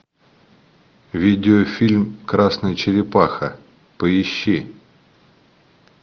видеофильм красная черепаха поищи